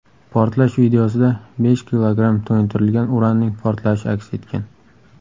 Portlash videosida besh kilogramm to‘yintirilgan uranning portlashi aks etgan.